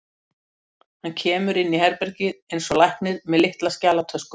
Hann kemur inn í herbergið eins og læknir, með litla skjalatösku.